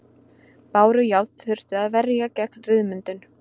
Bárujárn þurfti að verja gegn ryðmyndun.